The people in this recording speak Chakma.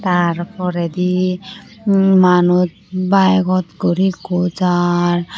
Tar poredi manuj bike or guri ekko jar.